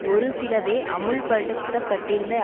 ஒரு சிலவே அமுல்படுத்தப்பட்டிருந்த